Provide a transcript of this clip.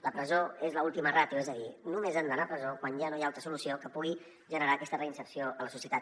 la presó és l’última ràtio és a dir només han d’anar a presó quan ja no hi ha altra solució que pugui generar aquesta reinserció a la societat